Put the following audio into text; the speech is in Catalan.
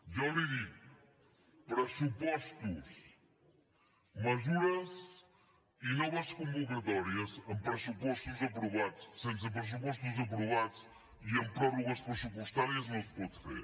jo li dic pressupostos mesures i noves convocatòries amb pressupostos aprovats sense pressupostos aprovats i amb pròrrogues pressupostàries no es pot fer